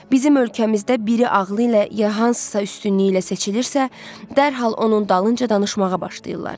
Bizim ölkəmizdə biri ağılı ilə ya hansısa üstünlüyü ilə seçilirsə, dərhal onun dalınca danışmağa başlayırlar.